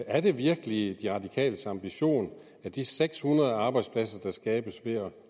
er det virkelig de radikales ambition at de seks hundrede arbejdspladser der skabes